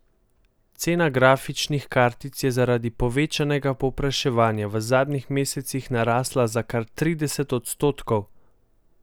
Cena grafičnih kartic je zaradi povečanega povpraševanja v zadnjih mesecih narasla za kar trideset odstotkov.